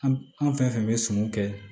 An an fɛn fɛn bɛ sɔmiw kɛ